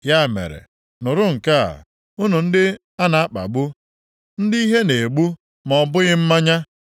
Ya mere, nụrụ nke a, unu ndị a na-akpagbu, ndị ihe na-egbu ma ọ bụghị mmanya.